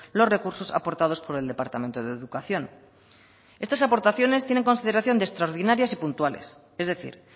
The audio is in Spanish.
los recursos aportados por el departamento de educación estas aportaciones tienen consideración de extraordinarias y puntuales es decir